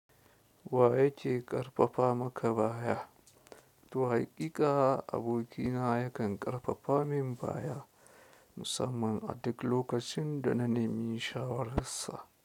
Waya ke ƙarfafa maka baya? To haƙiƙa abokina yakan ƙarfafa min baya musamman a duk lokacin da na nemi shawararsa.